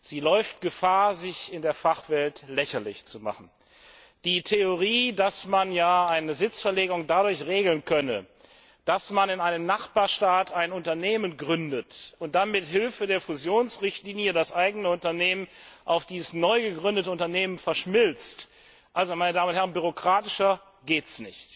Sie läuft Gefahr, sich in der Fachwelt lächerlich zu machen. Die Theorie, dass man ja eine Sitzverlegung dadurch regeln könne, dass man in einem Nachbarstaat ein Unternehmen gründet und dann mit Hilfe der Fusionsrichtlinie das eigene Unternehmen mit diesem neugegründeten Unternehmen verschmilzt, ist an Bürokratie kaum noch zu überbieten.